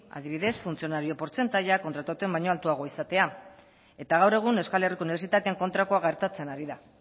adibidez funtzionario portzentaia kontratatuena baino altuago izatea eta gaur egun euskal herriko unibertsitatean kontrakoa gertatzen ari da